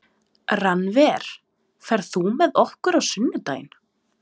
Rannver, ferð þú með okkur á sunnudaginn?